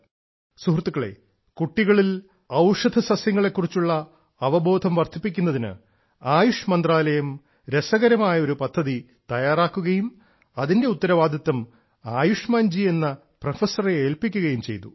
സുഹൃത്തുക്കളെ കുട്ടികളിൽ ഔഷധസസ്യങ്ങളെ കുറിച്ചുള്ള അവബോധം വർധിപ്പിക്കുന്നതിന് ആയുഷ് മന്ത്രാലയം രസകരമായ ഒരു പദ്ധതി തയ്യാറാക്കുകയും അതിന്റെ ഉത്തരവാദിത്വം ശ്രീ ആയുഷ്മാൻ എന്ന പ്രൊഫസറെ ഏൽപ്പിക്കുകയും ചെയ്തു